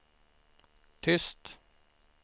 tyst